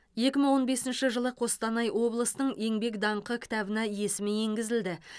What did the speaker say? екі мың он бесінші жылы қостанай облысының еңбек даңқы кітабына есімі енгізілді